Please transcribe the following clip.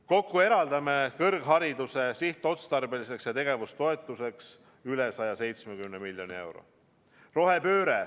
Kokku eraldame kõrghariduse sihtotstarbeliseks ja tegevustoetuseks üle 170 miljoni euro.